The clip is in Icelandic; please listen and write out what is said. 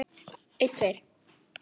En mamma vissi það.